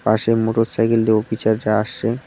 পাশে মোটরসাইকেল দিয়ে অফিচাজরা আসসে।